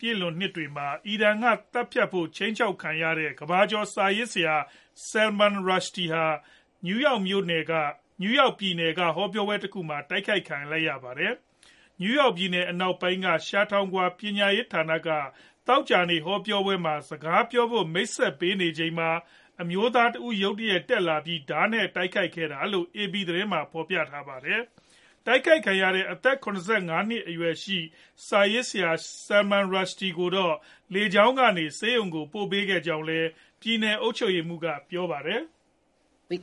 ပြည့်လွန်နှစ်တွေမှာ အီရန်နိုင်ငံက သတ်ဖို့ခြိမ်းခြောက်ခံခဲ့ရတဲ့ ကမ္ဘာကျော် စာရေးဆရာ Salman Rushdie ဟာ နယူးယောက်ပြည်နယ်က ဟောပြောပွဲတခုအတွင်း တိုက်ခိုက်ခံခဲ့ရပါတယ်။ နယူးယောက်ပြည်နယ် အနောက်ပိုင်းက Chautauqua ပညာရေးဌာနက သောကြာနေ့ ဟောပြောပွဲမှာ စကားပြောဖို့ မိတ်ဆက်ပေးချိန်မှာပဲ အမျိုးသားတဦး ရုတ်တရက် တက်လာပြီး ဓားနဲ့တိုက်ခိုက်ခဲ့တာလို့လည်း AP သတင်းက ဖော်ပြပါတယ်။ တိုက်ခိုက်ခံခဲ့ရတဲ့ အသက် ၇၅ နှစ်ရှိ စာရေးဆရာ Rushdie ကိုတော့ လေကြောင်းကနေ ဆေးရုံကို ပို့ဆောင်ပေးခဲ့ကြောင်းလည်း ပြည်နယ် အုပ်ချုပ်ရေးမှူးက ပြောပါတယ်။ “ဒီ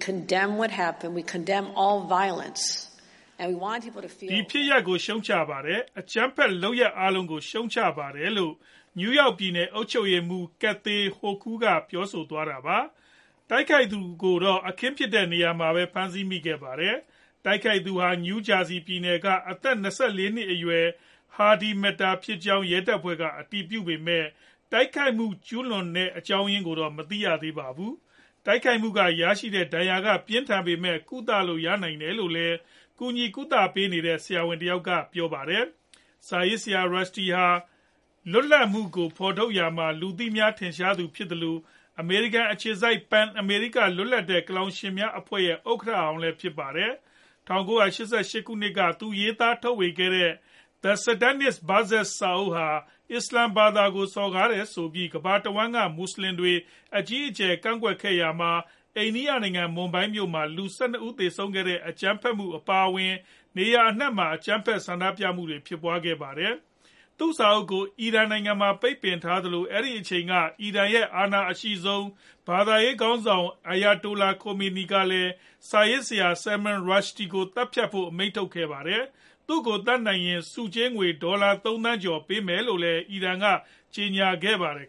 ဖြစ်ရပ်ကို ရှုတ်ချပါတယ်။ အကြမ်းဖက်လုပ်ရပ် အားလုံးကိုလည်း ရှုတ်ချပါတယ်။” လို့ နယူးယောက်ပြည်နယ် အုပ်ချုပ်ရေးမှူး Kathy Hochul ပြောဆိုသွားတာပါ။ တိုက်ခိုက်သူကိုတော့ အခင်းဖြစ်ရာ နေရာမှာပဲ ဖမ်းဆီးမိခဲ့ပါတယ်။ တိုက်ခိုက်သူဟာ နယူးဂျာစီပြည်နယ်က အသက် ၂၄ နှစ်အရွယ် Hadi Matar ဖြစ်ကြောင်း ရဲတပ်ဖွဲ့က အတည်ပြုခဲ့ပေမဲ့ တိုက်ခိုက်မှု ကျုးလွန်တော့ အကြောင်းရင်းကိုတော့ မသိရပါဘူး။ တိုက်ခိုက်မှုက ရရှိတဲ့ ဒဏ်ရာပြင်းထန်ပေမဲ့ ကုသလို့ ရနိုင်တယ်လို့လည်း ကူညီကုသပေးတဲ့ ဆရာဝန်တယောက်က ပြောပါတယ်။ စာရေးဆရာ Rushdie ဟာ လွတ်လပ်မှုကို ဖော်ထုတ်ရာမှာ လူသိများထင်ရှားသူတဦးဖြစ်သလို အမေရိကန်အခြေစိုက် PEN America လွတ်လပ်တဲ့ ကလောင်ရှင်များအဖွဲ့ရဲ့ ဥက္ကဌဟောင်းလည်း ဖြစ်ပါတယ်။ ၁၉၈၈ခုနှစ်က သူရေးသား ထုတ်ဝေခဲ့တဲ့ The Satanic Verses စာအုပ်ဟာ အစ္စလာမ်ဘာသာကို စော်ကားတယ်ဆိုပြီး ကမ္ဘာတဝှမ်း က မွတ်ဆလင်တွေ အကြီးအကျယ်ကန့်ကွက်ခဲ့ရာမှာ အိန္ဒိယနိုင်ငံ၊ မွန်ဘိုင်းမြို့မှာ လူ ၁၂ ဦးသေဆုံးခဲ့တဲ့ အကြမ်းဖက်မှုအပါအဝင် နေရာအနှံမှာ အကြမ်းဖက် ဆန္ဒပြခဲ့ကြပါတယ်။ သူ့စာအုပ်ကို အီရန်နိုင်ငံမှာ ပိတ်ပင်ထားသလို အဲဒီအချိန်က အီရန်နိုင်ငံရဲ့ အာဏာအရှိဆုံး ဘာသာရေးခေါင်းဆောင် Ayatollah Khomeini ကလည်း စာရေးဆရာ Rushdie ကို သတ်ဖြတ်ဖို့ အမိန့်ထုတ်ခဲ့တာပါ။ သူ့ကိုသတ်နိုင်ရင် ဆုငွေ ဒေါ်လာ ၃ သန်းကျော် ပေးဖို့လည်း အီရန်က ကြေညာထားပါတယ်